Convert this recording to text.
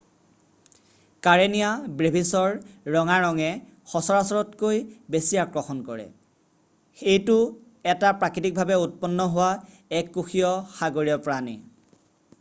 Karenia ব্ৰেভিছৰ ৰঙা ৰঙে সচৰাচৰতকৈ বেছি আকৰ্ষণ কৰে এইটো এটা প্ৰাকৃতিকভাৱে উৎপন্ন হোৱা এককোষীয় সাগৰীয় প্ৰাণী